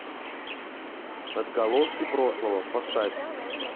отголоски прошлого поставь